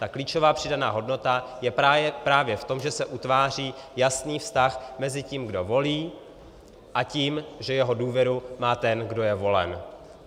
Ta klíčová přidaná hodnota je právě v tom, že se utváří jasný vztah mezi tím, kdo volí, a tím, že jeho důvěru má ten, kdo je volen.